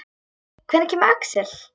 Hvenær kemur Axel?